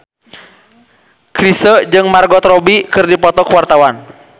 Chrisye jeung Margot Robbie keur dipoto ku wartawan